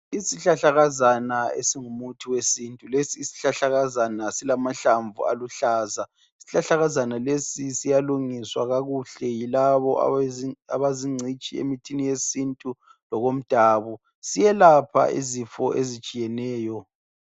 Isihlahlakazana esingumuthi wesintu. Lesi sihlahlakazana silamahlamvu aluhlaza. Isihlahlakazana lesi siyalungiswa kakuhle yilabo abazingcitshi emithini yesintu lokomdabu. Siyelapha izifo ezitshiyeneyo.